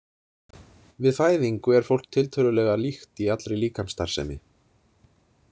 Við fæðingu er fólk tiltölulega líkt í allri líkamsstarfsemi.